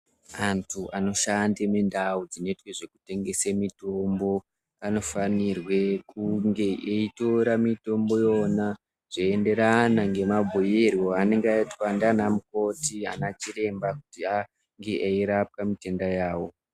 Antu anoshanda mindau dzinoitwe zvekutengese mitombo, anofanirwe kunge eitora mitombo iyona zveienderana nemabhuirwo anenge aitwa nana mukoti ,anachiremba kuti ange eirape mitenda yawo.